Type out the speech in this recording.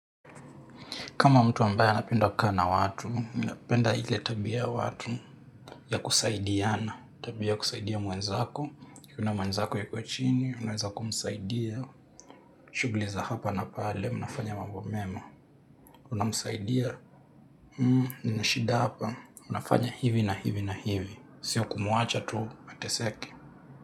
Kama mtu ambaye anapenda kukaa na watu, mimi ninapenda ile tabia watu ya kusaidiana, tabia kusaidia mwenzako, ukiona mwenzako yuko chini, unaweza kumsaidia, shughuli za hapa na pale, unafanya mambo mema, unamsaidia, nina shida hapa, unafanya hivi na hivi na hivi, sio kumuacha tu, ateseke.